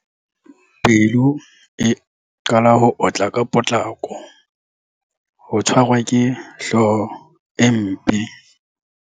Pelo e qala ho otla ka potlako. Ho tshwarwa ke hlooho e mpe.